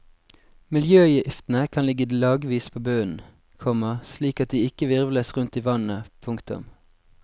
Miljøgiftene kan ligge lagvis på bunnen, komma slik at de ikke hvirvles rundt i vannet. punktum